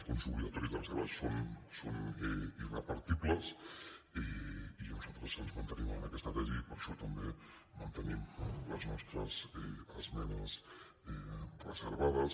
els fons obligatoris de reserva són irrepartibles i nosaltres ens mantenim en aquesta tesi i per això també mantenim les nostres esmenes reservades